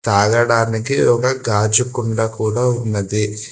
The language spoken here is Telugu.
తాగడానికి ఒక గాజు కుండ కూడా ఉన్నది.